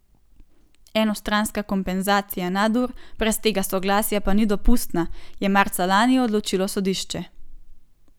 Enostranska kompenzacija nadur brez tega soglasja pa ni dopustna, je marca lani odločilo sodišče.